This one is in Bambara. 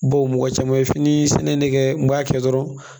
Baw mɔgɔ caman ye fini sɛnɛ in ne kɛ n b'a kɛ dɔrɔn